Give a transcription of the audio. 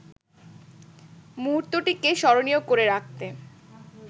মুহূর্তটিকে স্মরণীয় করে রাখতে